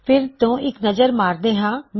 ਫਿਰ ਤੋ ਇੱਕ ਨਜ਼ਰ ਮਾਰਦੇ ਹਾਂ